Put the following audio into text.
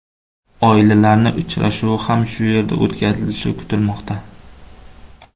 Oilalarning uchrashuvi ham shu yerda o‘tkazilishi kutilmoqda.